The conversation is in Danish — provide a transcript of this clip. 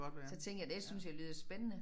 Så tænkte jeg det synes jeg lyder spændende